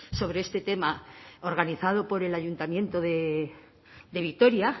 sobre este tema organizado por el ayuntamiento de vitoria